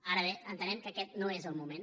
ara bé entenem que aquest no és el moment